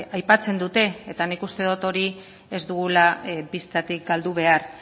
aipatzen dute eta nik uste dut hori ez dugula bistatik galdu behar